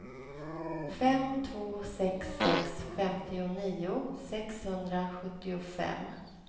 fem två sex sex femtionio sexhundrasjuttiofem